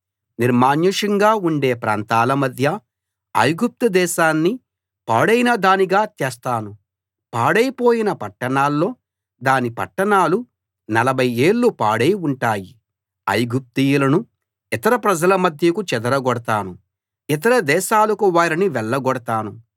నిర్మానుష్యంగా ఉండే ప్రాంతాల మధ్య ఐగుప్తుదేశాన్ని పాడైన దానిగా చేస్తాను పాడైపోయిన పట్టణాల్లో దాని పట్టణాలు నలభై ఏళ్ళు పాడై ఉంటాయి ఐగుప్తీయులను ఇతర ప్రజల మధ్యకు చెదరగొడతాను ఇతర దేశాలకు వారిని వెళ్ళగొడతాను